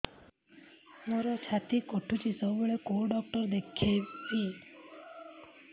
ମୋର ଛାତି କଟୁଛି ସବୁବେଳେ କୋଉ ଡକ୍ଟର ଦେଖେବି